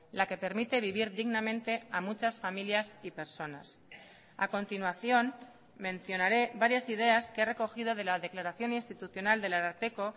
la que permite vivir dignamente a muchas familias y personas a continuación mencionaré varias ideas que he recogido de la declaración institucional del ararteko